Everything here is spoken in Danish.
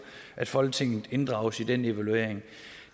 at folketinget inddrages i den evaluering